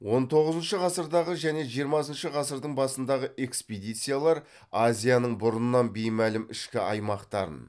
он тоғызыншы ғасырдағы және жиырмасыншы ғасырдың басындағы экспедициялар азияның бұрыннан беймәлім ішкі аймақтарын